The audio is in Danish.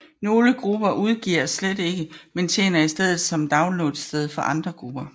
Nogle grupper udgiver slet ikke men tjener i stedet som downloadsted for andre grupper